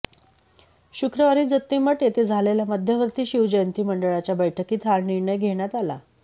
शुक्रवारी जत्तीमठ येथे झालेल्या मध्यवर्ती शिवजयंती मंडळाच्या बैठकीत हा निर्णय घेण्यात आला